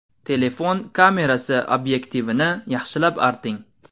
Telefon kamerasi obyektivini yaxshilab arting.